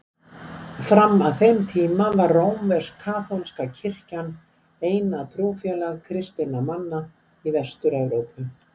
Fram að þeim tíma var rómversk-katólska kirkjan eina trúfélag kristinna manna í Vestur-Evrópu.